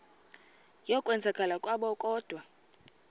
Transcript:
yokwenzakala kwabo kodwa